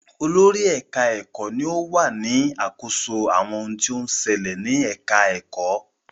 Olórí ẹ̀ka-ẹ̀kọ́ ni ó wà ní àkóso àwọn ohun tó ń ṣẹlẹ̀ ní ẹ̀ka-ẹ̀kọ́.